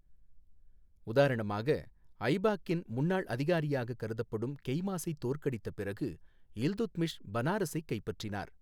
உதாரணமாக, ஐபாக்கின் முன்னாள் அதிகாரியாக கருதப்படும் கெய்மாசைத் தோற்கடித்த பிறகு இல்துத்மிஷ் பனாரஸைக் கைப்பற்றினார்.